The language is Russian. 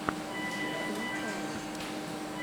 лопалу